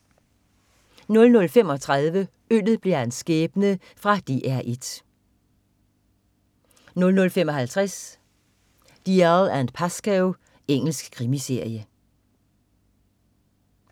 00.35 Øllet blev hans skæbne. Fra DR 1 00.55 Dalziel & Pascoe. Engelsk krimiserie